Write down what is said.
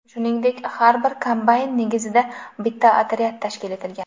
Shuningdek, har bir kombayn negizida bitta otryad tashkil etilgan.